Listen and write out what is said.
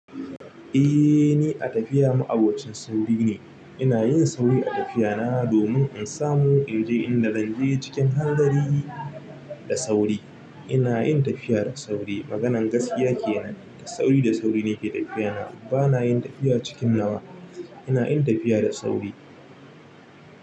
Eh, ni a tafiya ma'abocin sauri ne. Ina yin sauri a tafiyana domin in samu in je inda zan je cikin hanzari da sauri. Ina yin tafiya da sauri. Maganar gaskiya ke nan, da sauri da sauri ne ke tafiyana. Bana yin tafiya cikin nawa. Ina yin tafiya da sauri.